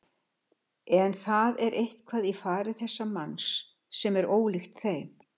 En það er eitthvað í fari þessa manns sem er ólíkt þeim.